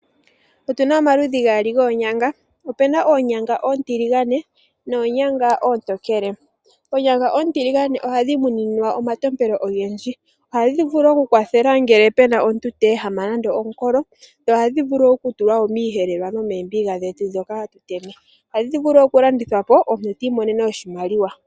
Otu na omaludhi gaali goonyanga, opuna oonyanga oontiligane noonyanga oontokele. Oonyanga oontiligane ohadhi muninwa omatompelo ogendji. Ohadhi vulu okukwathela ngele pu na omuntu ta ehama nande omukolo dho ohadhi vulu wo okutulwa miiyelelwa nomoombiga dhetu ndhoka ha tu tema, ohadhi vulu wo oku landithwa po omuntu e ta imonene oshimaliwa.